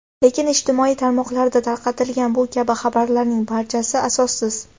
Lekin ijtimoiy tarmoqlarda tarqatilgan bu kabi xabarlarning barchasi asossiz.